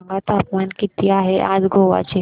सांगा तापमान किती आहे आज गोवा चे